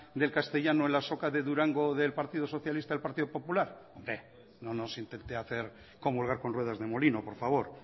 del castellano en la azoka de durango del partido socialista el partido popular hombre no nos intente hacer comulgar con ruedas de molino por favor